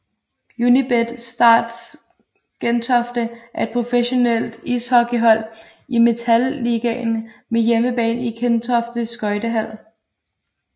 Unibet Stars Gentofte er et professionelt ishockeyhold i Metal Ligaen med hjemmebane i Gentofte Skøjtehal